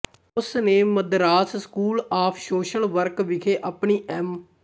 ਉਸ ਨੇ Madras school of social work ਵਿਖੇ ਆਪਣੀ ਐਮ